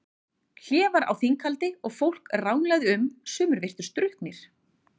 Hlé var á þinghaldi og fólk ranglaði um, sumir virtust drukknir.